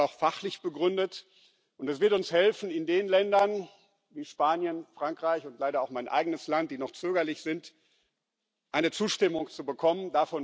Es ist auch fachlich begründet, und das wird uns helfen, in Ländern wie Spanien und Frankreich und leider auch in meinem eigenen Land, die noch zögerlich sind, eine Zustimmung zu bekommen.